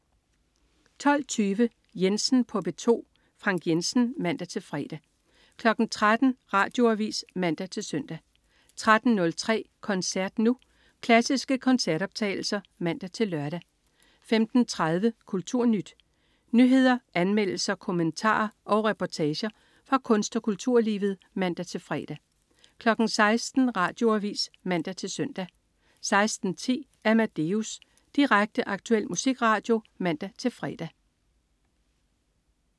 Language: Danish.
12.20 Jensen på P2. Frank Jensen (man-fre) 13.00 Radioavis (man-søn) 13.03 Koncert Nu. Klassiske koncertoptagelser (man-lør) 15.30 KulturNyt. Nyheder, anmeldelser, kommentarer og reportager fra kunst- og kulturlivet (man-fre) 16.00 Radioavis (man-søn) 16.10 Amadeus. Direkte, aktuel musikradio (man-fre)